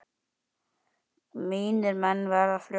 Mínir menn verða fljót